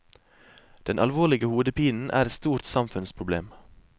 Den alvorlige hodepinen er et stort samfunnsproblem.